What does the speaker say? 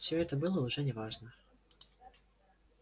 всё это было уже не важно